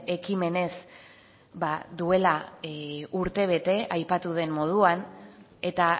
ekimenez duela urtebete aipatu den moduan eta